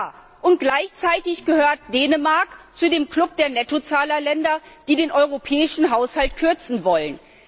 Ja, und gleichzeitig gehört Dänemark zu dem Club der Nettozahlerländer, die den europäischen Haushalt kürzen wollen.